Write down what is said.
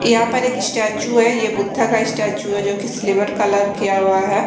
या पर एक इस्टेचु है ये बुध्धा का इस्टेचु है जो की सिल्वर कलर किया वा है।